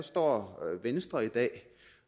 står venstre i dag